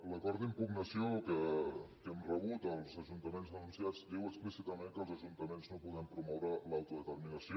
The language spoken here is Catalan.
l’acord d’impugnació que hem rebut els ajuntaments denunciats diu explícitament que els ajuntaments no podem promoure l’autodeterminació